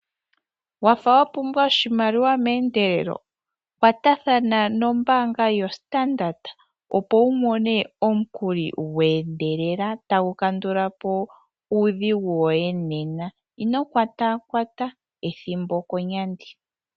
Wafa wapumbwa oshimaliwa meendelelo, kwatathana nombaanga yo Standard, opo wu mone omukuli gweendelela tagu kandulapo uudhigu woye nena. Ino kwataakwata ethimbo okonyandi.